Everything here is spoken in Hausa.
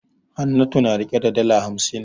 Hannatu na rike da dala hamsin.